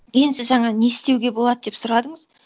енді сіз жаңа не істеуге болады деп сұрадыңыз